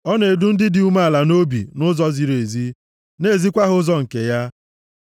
Ọ na-edu ndị dị umeala nʼobi nʼụzọ ziri ezi, na-ezikwa ha ụzọ nke ya.